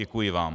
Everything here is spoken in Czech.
Děkuji vám.